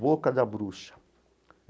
Boca da Bruxa.